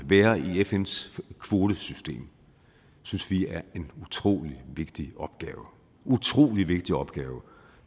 være i fns kvotesystem synes vi er en utrolig vigtig opgave utrolig vigtig opgave